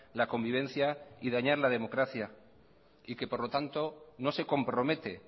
la convivencia y dañar la democracia y que por lo tanto no se compromete